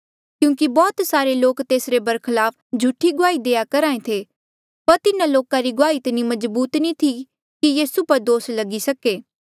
क्यूंकि बौह्त सारे लोक तेसरे बरखलाफ झूठी गुआही देआ करहा ऐें थे पर तिन्हा लोका री गुआही इतनी मजबूत नी थी कि यीसू पर दोस लगी सके